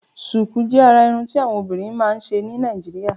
Ṣùkùú jè àrà irùn ti awọn obìrín mà n ṣé ni Nàijiriá